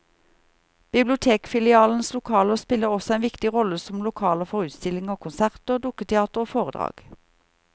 Bibliotekfilialenes lokaler spiller også en viktig rolle som lokaler for utstillinger, konserter, dukketeater og foredrag.